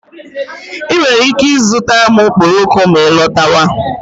I nwere ike ịzụtara m okporoko ma ị lọtawa.